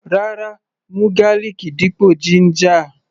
Rárá, mú garlic dípò ginger.